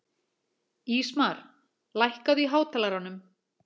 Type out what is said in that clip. Ísmar, lækkaðu í hátalaranum.